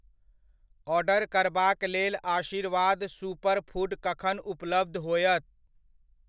Order करबाक लेल Aashirvaad super food कखन उपलब्ध होयत?